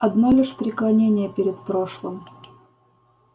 одно лишь преклонение перед прошлым